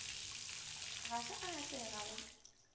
ga se a atlega go